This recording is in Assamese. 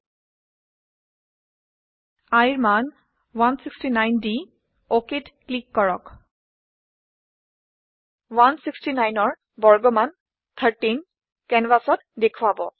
iৰ মান 169 দি OKত ক্লিক কৰক 169ৰ বৰ্গমান 13 কেনভাচত দেখোৱাব